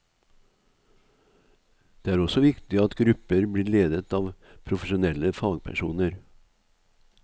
Det er også viktig at grupper blir ledet av profesjonelle fagpersoner.